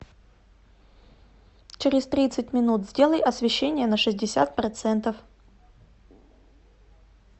через тридцать минут сделай освещение на шестьдесят процентов